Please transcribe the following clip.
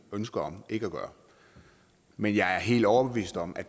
ønske om ikke at gøre men jeg er helt overbevist om at